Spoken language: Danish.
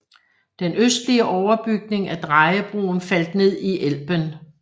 Den østlige overbygning af drejebroen faldt ned i Elben